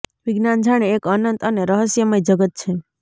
વિજ્ઞાન જાણે એક અનંત અને રહસ્મય જગત છે